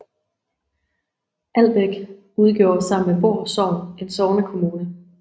Albæk udgjorde sammen med Voer Sogn en sognekommune